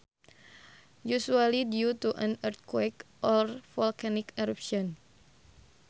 Usually due to an earthquake or volcanic eruption